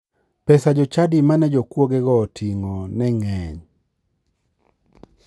Pesa jochadi mane jokuogego oting'o ne ng'eny.